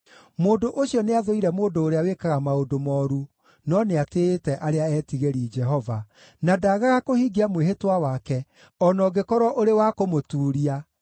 mũndũ ũcio nĩathũire mũndũ ũrĩa wĩkaga maũndũ mooru, no nĩatĩĩte arĩa etigĩri Jehova, na ndagaga kũhingia mwĩhĩtwa wake, o na ũngĩkorwo ũrĩ wa kũmũtuuria,